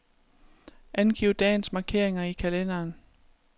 Angiv dagens markeringer i kalenderen.